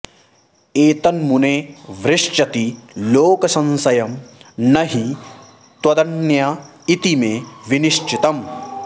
एतन्मुने वृश्चति लोकसंशयं न हि त्वदन्य इति मे विनिश्चितम्